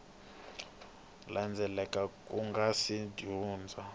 landzelaka ku nga si hundza